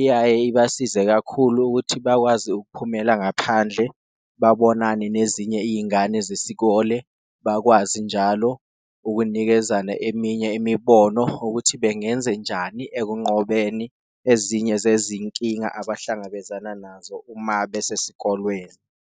iyaye ibasize kakhulu ukuthi bakwazi ukuphumela ngaphandle babonane nezinye iyingane zesikole. Bakwazi njalo ukunikezana eminye imibono ukuthi bengenzenjani ekunqobeni ezinye zezinkinga abahlangabezana nazo uma besesikolweni.